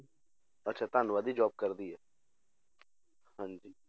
ਅੱਛਾ ਦੀ job ਕਰਦੀ ਹੈ ਹਾਂਜੀ